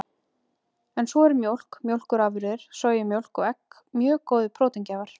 En svo eru mjólk, mjólkurafurðir, sojamjólk og egg mjög góðir próteingjafar.